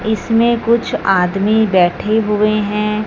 इसमें कुछ आदमी बैठे हुए हैं।